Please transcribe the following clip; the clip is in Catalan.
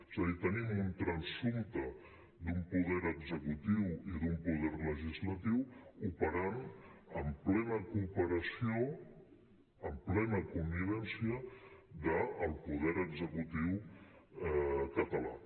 és a dir tenim un transsumpte d’un poder executiu i d’un poder legislatiu ope·rant en plena cooperació en plena connivència del poder executiu català